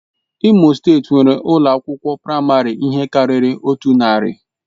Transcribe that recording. Imo steeti nwere ụlọ akwụkwọ praịmarị ihe karịrị otu narị.